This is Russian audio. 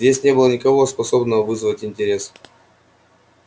здесь не было никого способного вызвать интерес